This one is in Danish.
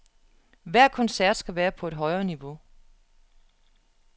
Hver koncert skal være på et højere niveau.